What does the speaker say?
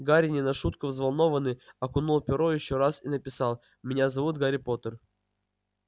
гарри не на шутку взволнованный окунул перо ещё раз и написал меня зовут гарри поттер